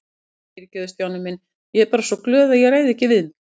Æ, fyrirgefðu Stjáni minn, ég er bara svo glöð að ég ræð ekki við mig